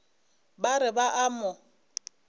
ba re ba a mo